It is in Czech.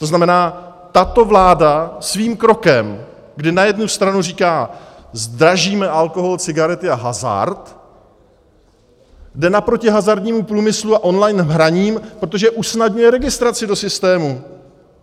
To znamená, tato vláda svým krokem, kdy na jednu stranu říká "zdražíme alkohol, cigarety a hazard", jde naproti hazardnímu průmyslu a online hraní, protože usnadňuje registraci do systému!